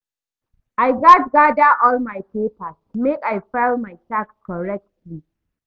I gats gada all my papers make I file my tax correctly.